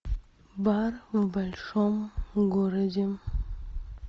бар в большом городе